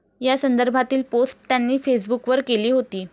या संदर्भातील पोस्ट त्यांनी फेसबुकवर केली होती.